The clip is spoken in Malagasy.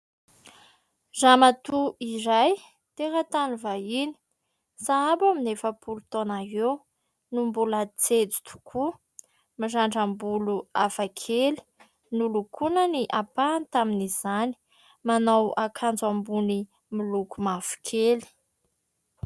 Ramatoa iray teratany vahiny, sahabo eo amin'ny efa-polo taona eo no mbola jejo tokoa ; mirandram-bolo hafakely, nolokoina ny ampahany tamin'izany, manao akanjo ambony miloko mavokely.